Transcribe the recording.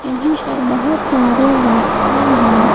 यहां पर बहुत सारे व्यक्ति हैं।